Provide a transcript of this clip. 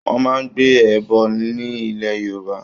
Wọ́n máa ń gbé ẹbọ ní ilẹ̀ Yorùbá.